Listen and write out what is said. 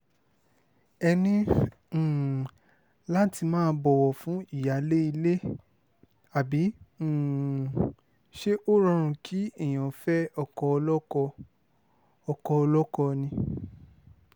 ẹ ní um láti máa bọ̀wọ̀ fún ìyáálé ilé àbí um ṣé ó rọrùn kí èèyàn fẹ́ ọkọ olóko ọkọ olóko ni